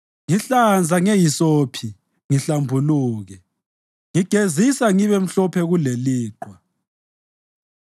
Ngihlanza ngehisophi ngihlambuluke; ngigezisa ngibemhlophe kuleliqhwa.